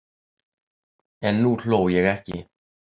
En nú hló ég ekki.